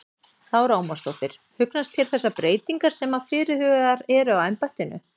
Lára Ómarsdóttir: Hugnast þér þessar breytingar sem að fyrirhugaðar eru á embættinu?